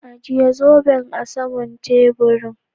Ajie zoben a sama'n taburin.